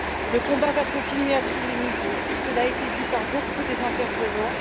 Le combat va continuer à tous les niveaux, et cela a été dit par beaucoup des intervenants.